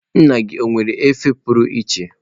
Nna gị ọ nwere efere pụrụ iche?